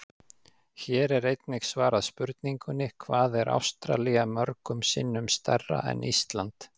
Hér er einnig svarað spurningunni: Hvað er Ástralía mörgum sinnum stærra en Ísland?